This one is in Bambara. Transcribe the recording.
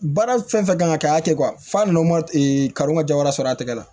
Baara fɛn fɛn kan ka k'a kɛ fa n'o ma karɔ ka ja wɛrɛ sɔrɔ a tɛgɛ la